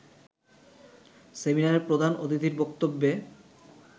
সেমিনারে প্রধান অতিথির বক্তব্যে